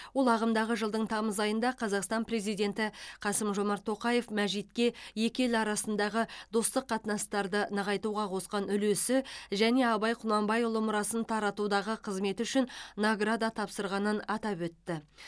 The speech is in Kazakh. ол ағымдағы жылдың тамыз айында қазақстан президенті қасым жомарт тоқаев мәжитке екі ел арасындағы достық қатынастарды нығайтуға қосқан үлесі және абай құнанбайұлы мұрасын таратудағы қызметі үшін награда тапсырғанын атап өтті